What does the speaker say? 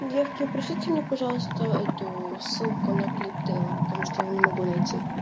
девки пришлите мне пожалуйста эту ссылку на клип тейлор потому что я его не могу найти